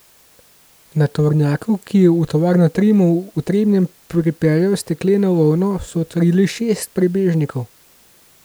Na tovornjaku, ki je v tovarno Trimo v Trebnjem pripeljal stekleno volno, so odkrili šest prebežnikov.